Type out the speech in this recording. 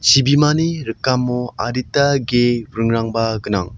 chibimani rikamo adita ge ringrangba gnang.